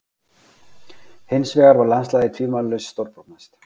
Hinsvegar var landslagið tvímælalaust stórbrotnast.